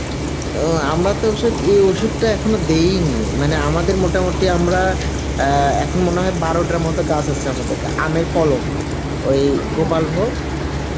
ও আমরা তো এসক~ এই ওষুধ টা এখনো দিই নি মানে আমাদের মোটামুটি আমরা আ এখন মনে হয় বারোটার মতো গাছ আছে আমাদের গা বারোটা কলম ওই